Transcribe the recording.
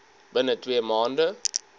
binne twee maande